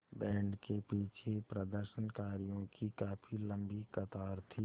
band के पीछे प्रदर्शनकारियों की काफ़ी लम्बी कतार थी